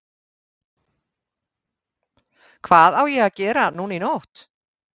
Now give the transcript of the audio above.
Gísli Óskarsson: Hvað á að gera núna í nótt?